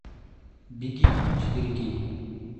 беги четыре кей